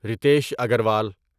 Ritesh Agarwal